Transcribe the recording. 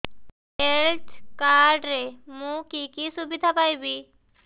health card ରେ ମୁଁ କି କି ସୁବିଧା ପାଇବି